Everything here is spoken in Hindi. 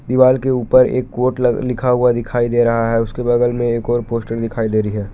दीवाल के ऊपर एक कोट लग लिखा हुआ दिखाई दे रहा है उसके बगल में एक और पोस्टर दिखाई दे रही है।